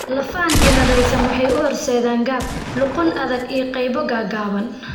Lafahan cilladaysan waxay u horseedaan gaab, luqun adag iyo qaybo gaagaaban.